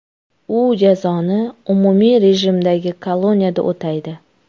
U jazoni umumiy rejimdagi koloniyada o‘taydi.